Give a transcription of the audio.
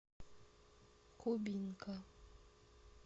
кубинка